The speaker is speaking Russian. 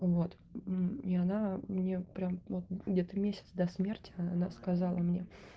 вот мм и она мне прям вот где-то месяц до смерти она сказала мне